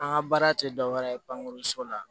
An ka baara tɛ dɔ wɛrɛ ye bange so la